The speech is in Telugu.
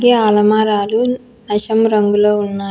ఈ అలమారాలు నశం రంగులో ఉన్నాయ్.